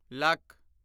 lakh